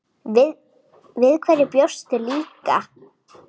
Við hverju bjóstu líka?